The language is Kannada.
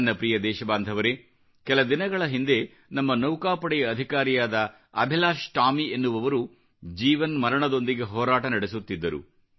ನನ್ನ ಪ್ರಿಯ ದೇಶಬಾಂಧವರೆ ಕೆಲ ದಿನಗಳ ಹಿಂದೆ ನಮ್ಮ ನೌಕಾಪಡೆಯ ಅಧಿಕಾರಿಯಾದ ಅಭಿಲಾಶ್ ಟಾಮಿ ಎನ್ನುವವರು ಜೀವನ್ಮರಣದೊಂದಿಗೆ ಹೋರಾಟ ನಡೆಸುತ್ತಿದ್ದರು